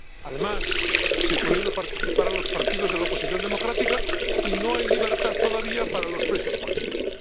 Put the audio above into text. Además, se prohíbe participar a los partidos de la oposición democrática y no hay libertad todavía para los presos políticos.